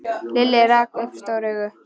Lilli rak upp stór augu.